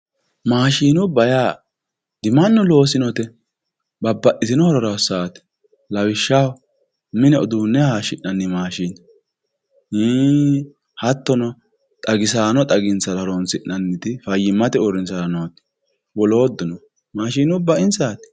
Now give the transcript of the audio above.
maashinubba yaa dimannu loosinote babbaxitino horora hossannote lawishshaho mine uduunne hayiishshinanni maashine ii hattono xagisaano xaginsara horonsi'nanniti fayyimate uurrinshara nooti wolootuno maashinubba insaati.